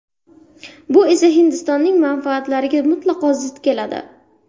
Bu esa Hindistonning manfaatlariga mutlaqo zid keladi.